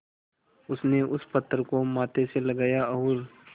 उसने उस पत्थर को माथे से लगाया और